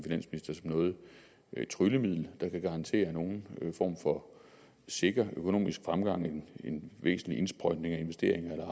noget tryllemiddel der kan garantere nogen form for sikker økonomisk fremgang med en væsentlig indsprøjtning af investeringer og